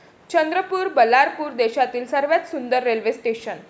चंद्रपूर, बल्लारपूर देशातली सर्वात सुंदर रेल्वे स्टेशनं!